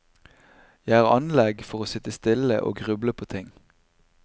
Jeg har anlegg for å sitte stille og gruble på ting.